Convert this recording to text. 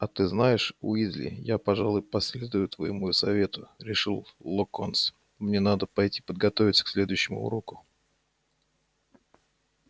а ты знаешь уизли я пожалуй последую твоему совету решил локонс мне надо пойти подготовиться к следующему уроку